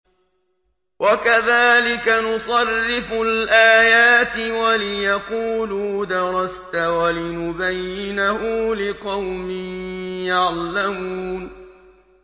وَكَذَٰلِكَ نُصَرِّفُ الْآيَاتِ وَلِيَقُولُوا دَرَسْتَ وَلِنُبَيِّنَهُ لِقَوْمٍ يَعْلَمُونَ